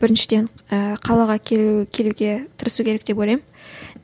біріншіден ііі қалаға келу келуге тырысу керек деп ойлаймын